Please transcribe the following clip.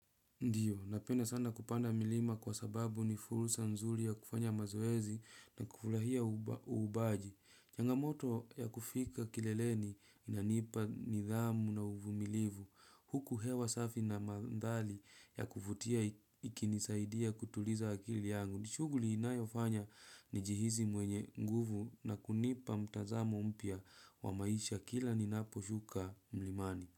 Ndiyo, napenda sana kupanda milima kwa sababu ni fursa nzuri ya kufanya mazoezi na kufurahia uubaji. Changamoto ya kufika kileleni inanipa nidhamu na uvumilivu. Huku hewa safi na mandhari ya kuvutia ikinisaidia kutuliza akili yangu. Nishughuli inayofanya ni jihisi mwenye nguvu na kunipa mtazamo mpya wa maisha kila ni napo shuka mlimani.